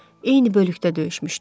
Eyni bölükdə döyüşmüşdük.